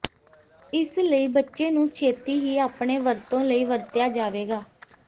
ਇਸ ਲਈ ਬੱਚੇ ਨੂੰ ਛੇਤੀ ਹੀ ਆਪਣੇ ਵਰਤੋਂ ਲਈ ਵਰਤਿਆ ਜਾਵੇਗਾ